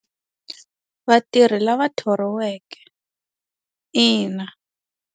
Vatirhi lava thoriweke ina.